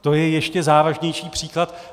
To je ještě závažnější příklad.